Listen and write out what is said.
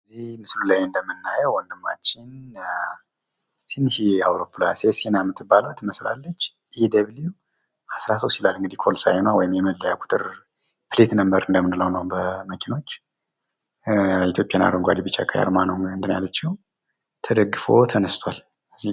ይህ ምስሉ ላይ የምናየው ወንድማችን ትንሽዬ አውሮፕላን ሴሲና የምትባለዋ ትመስላለች ። ኢ ደብሊዉ አስራ ሶስት ይላል ኮድ ሳይኗ ወይም የመለያ ቁጥሯ ኬት ነምበር የምንለው ነው ለመኪኖች የኢትዮጵያን አረንጓዴ ቢጫ ቀይአርማ ነው ተደግፎ ተነስቷል።